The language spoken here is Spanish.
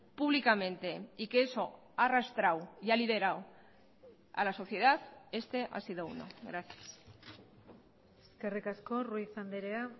públicamente y que eso ha arrastrado y ha liderado a la sociedad este ha sido uno gracias eskerrik asko ruiz andrea